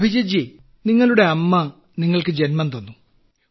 അഭിജിത്ത് ജി നിങ്ങളുടെ അമ്മ നിങ്ങൾക്കു ജന്മം തന്നു